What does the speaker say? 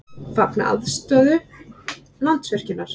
Fagna afstöðu Landsvirkjunar